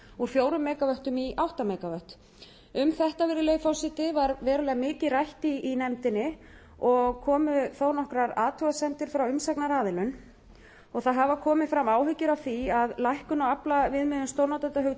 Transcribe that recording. úr fjórtán mega vöttum í átta mega vöttum um þetta virðulegi forseti var verulega mikið rætt í nefndinni og komu þó nokkrar athugasemdir frá umsagnaraðilum og það hafa komið fram áhyggjur af því að lækkun á aflviðmiðun stórnotendahugtaksins geti haft í för með sér